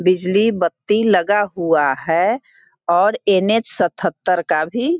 बिजली बत्ती लगा हुआ हैं और एन एच सतहत्तर का भी --